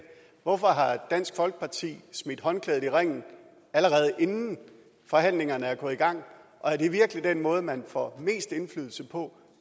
hvorfor har dansk folkeparti smidt håndklædet i ringen allerede inden forhandlingerne er gået i gang og er det virkelig den måde man får mest indflydelse på